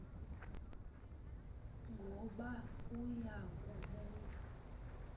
ngoba uya kubuya